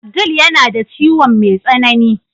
Abdul yana da ciwon mai tsanani.